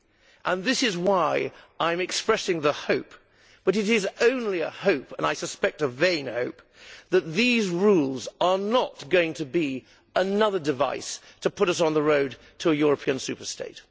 This is why I am expressing the hope but it is only a hope, and I suspect a vain hope that these rules are not going to be another device to put us on the road to a European super state.